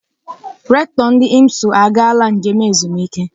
Rektọ ndị IMSU agaala njem ezumike.